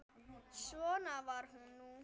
Svona var nú það.